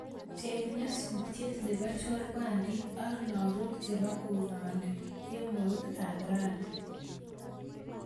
Cheng nyasutiet nebo chorwandit ak lagok chebo korani kemout ab rani